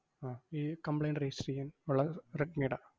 ആഹ് ഈ complaint register എയ്യാൻ ഒള്ള റെഡ്‌മിടെ.